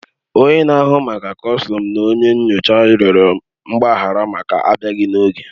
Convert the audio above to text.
Onye na-ahụ maka kọstọm na onye nyocha rịọrọ mgbaghara maka abịaghi n'oge